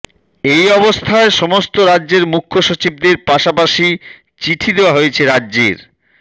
এই অবস্থায় সমস্ত রাজ্যের মুখ্যসচিবদের পাশাপাশি চিঠি দেওয়া হয়েছে রাজ্যের